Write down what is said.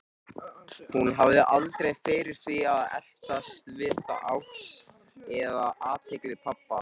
Hún hafði aldrei fyrir því að eltast við ást eða athygli pabba.